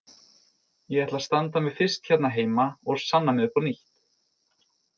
Ég ætla að standa mig fyrst hérna heima og sanna mig upp á nýtt.